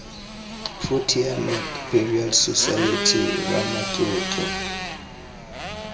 protea north burial society ramatlotlo